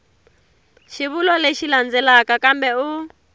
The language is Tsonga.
xivulwa lexi landzelaka kambe u